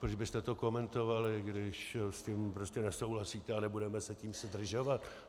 Proč byste to komentovali, když s tím prostě nesouhlasíte, a nebudeme se tím zdržovat.